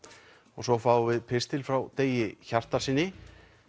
og svo fáum við pistil frá Degi Hjartarsyni